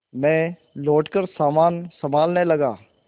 मैं लौटकर सामान सँभालने लगा